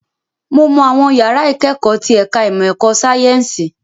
Mo mọ àwọn yàrá ìkẹ́kọ̀ọ́ tí ẹ̀ka ìmọ̀ ẹ̀kọ́ sáyẹ́ǹsì